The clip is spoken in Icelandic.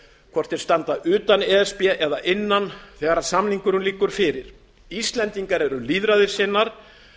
hvort þeir standa utan e s b eða innan þegar samningurinn liggur fyrir íslendingar eru lýðræðissinnar